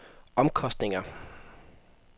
omkostninger